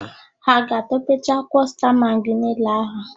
Ha a ga-atọpecha akwụkwọ sta magị niile ahụ?